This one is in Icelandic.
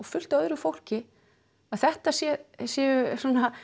fullt af öðru fólki að þetta séu séu